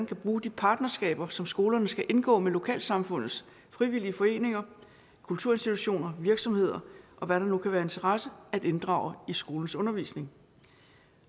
kan bruge de partnerskaber som skolerne skal indgå med lokalsamfundets frivillige foreninger kulturinstitutioner virksomheder og hvad der nu kan være af interesse at inddrage i skolens undervisning